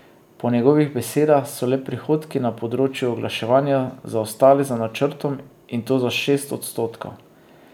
Po njegovih besedah so le prihodki na področju oglaševanja zaostali za načrtom, in to za šest odstotkov.